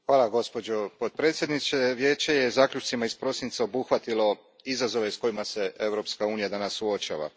Gospođo predsjednice, Vijeće je zaključcima iz prosinca obuhvatilo izazove s kojima se Europska unija danas suočava.